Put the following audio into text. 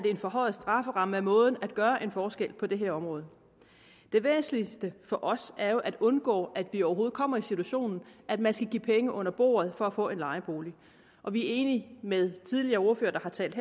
forhøje strafferammen er måden at gøre en forskel på på det her område det væsentligste for os er jo at undgå at vi overhovedet kommer i den situation at man skal give penge under bordet for at få en lejebolig og vi er enige med de tidligere ordførere der har talt